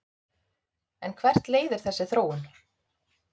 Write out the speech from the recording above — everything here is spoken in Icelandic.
En hvert leiðir þessi þróun?